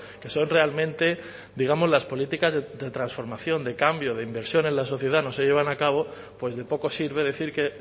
que son realmente digamos las políticas de transformación de cambio de inversión en la sociedad no se llevan a cabo pues de poco sirve decir que